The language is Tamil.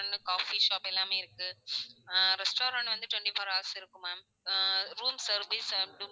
வந்து coffee shop எல்லாமே இருக்கு அஹ் restaurant வந்து twenty four hours இருக்கும் ma'am ah room service and ம்